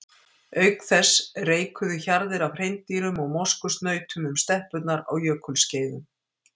Auk þess reikuðu hjarðir af hreindýrum og moskusnautum um steppurnar á jökulskeiðum.